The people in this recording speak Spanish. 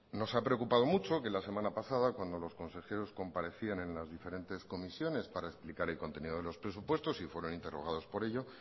nos ha preocupado mucho que la semana pasada cuando los consejeros comparecían en las diferentes comisiones para explicar el contenido de los presupuestos y fueron interrogados por ello